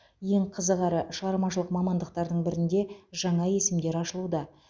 ең қызық әрі шығармашылық мамандықтардың бірінде жаңа есімдер ашылуда